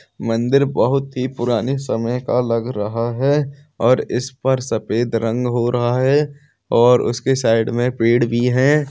मंदिर बहुत ही पुरनी समय का लग रहा है और इस पर सफेद रंग हो रहा है और उसके साइड में पेड़ भी हैं ।